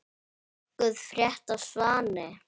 Nokkuð frétt af Svani?